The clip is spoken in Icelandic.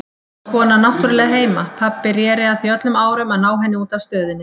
Konan náttúrlega heima, pabbi reri að því öllum árum að ná henni út af Stöðinni.